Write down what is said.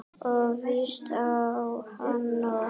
Og víst á hann nóg.